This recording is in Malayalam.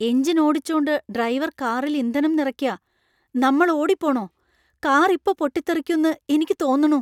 എഞ്ചിൻ ഓടിച്ചോണ്ട് ഡ്രൈവർ കാറിൽ ഇന്ധനം നിറയ്ക്കാ. നമ്മൾ ഓടിപ്പോണോ ? കാർ ഇപ്പൊ പൊട്ടിത്തെറിക്കുന്ന് എനിക്ക് തോന്നണു .